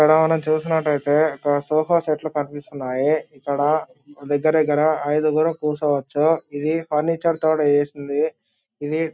ఇక్కడ మనం చూసినట్టైతే ఇక్కడ సోఫా సెట్ లు కనిపిస్తున్నాయి ఇక్కడ దగ్గర దగ్గర ఐదుగురు కూర్చోవచ్చు ఇవి ఫర్నిచర్ తోటి చేసింది ఇది--